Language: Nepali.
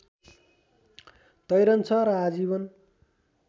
तैरन्छ र आजीवन